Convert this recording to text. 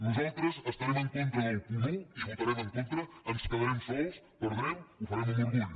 nosaltres estarem en contra del punt un hi votarem en contra ens quedarem sols perdrem ho farem amb orgull